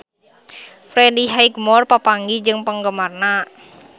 Freddie Highmore papanggih jeung penggemarna